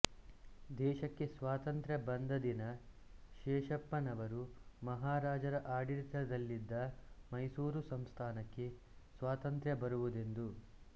ದೇಶಕ್ಕೆ ಸ್ವಾತಂತ್ರ್ಯ ಬಂದ ದಿನ ಶೇಷಪ್ಪನವರು ಮಹಾರಾಜರ ಆಡಳಿತದಲ್ಲಿದ್ದ ಮೈಸೂರು ಸಂಸ್ಥಾನಕ್ಕೆ ಸ್ವಾತಂತ್ರ್ಯ ಬರುವುದೆಂದು